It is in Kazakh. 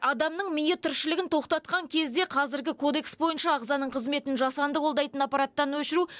адамның миы тіршілігін тоқтатқан кезде қазіргі кодекс бойынша ағзаның қызметін жасанды қолдайтын аппараттан өшіру